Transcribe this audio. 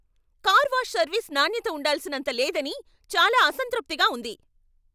Car wash service నాణ్యత ఉండాల్సినంత లేదని చాలా అసంతృప్తిగా ఉంది.